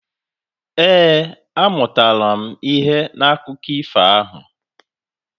Ee, amụtara m ihe n'akụkọ ifo ahụ.